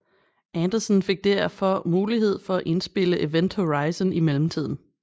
Anderson fik derfor mulighed for at indspille Event Horizon i mellemtiden